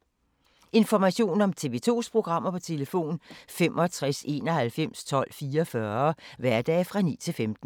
Information om TV 2's programmer: 65 91 12 44, hverdage 9-15.